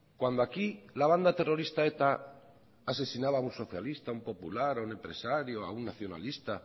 cuando aquí la banda terrorista eta asesinaba a un socialista a un popular a un empresario o a un nacionalista